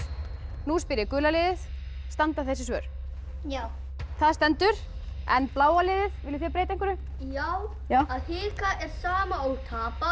nú spyr ég gula liðið standa þessi svör já það stendur en bláa liði viljið þið breyta einhverju já já að hika er sama og tapa